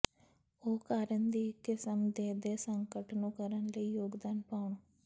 ਉਹ ਕਾਰਨ ਦੀ ਇੱਕ ਕਿਸਮ ਦੇ ਦੇ ਸੰਕਟ ਨੂੰ ਕਰਨ ਲਈ ਯੋਗਦਾਨ ਪਾਉਣ